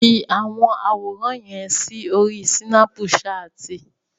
Fi àwọn àwòràn yẹn sí orí Sínápùṣaàtì!